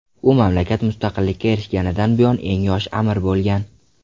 U mamlakat mustaqilikka erishganidan buyon eng yosh amir bo‘lgan.